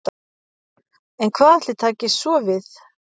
En hvað ætli taki svo við?